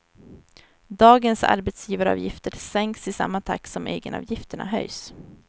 Dagens arbetsgivaravgifter sänks i samma takt som egenavgifterna höjs.